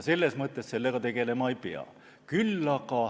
Selles mõttes sellega tegelema ei pea.